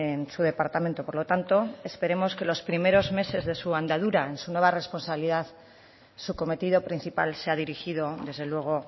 en su departamento por lo tanto esperemos que los primeros meses de su andadura en su nueva responsabilidad su cometido principal sea dirigido desde luego